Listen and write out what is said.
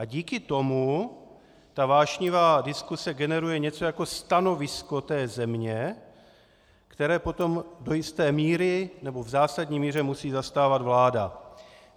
A díky tomu ta vášnivá diskuse generuje něco jako stanovisko té země, které potom do jisté míry, nebo v zásadní míře musí zastávat vláda.